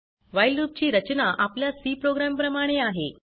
while loop ची रचना आपल्या Cप्रोग्राम प्रमाणे आहे